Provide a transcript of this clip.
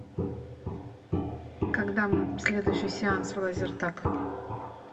когда следующий сеанс в лазертаг